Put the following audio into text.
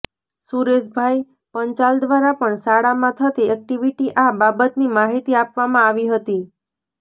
સુરેશભાઈ પંચાલ દ્વારા પણ શાળામાં થતી એક્ટિવિટી આ બાબતની માહિતી આપવામાં આવી હતી